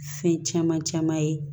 Fɛn caman caman ye